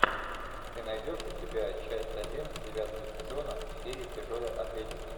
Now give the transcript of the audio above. ты найдешь у себя часть один девятого сезона фея тяжелой атлетики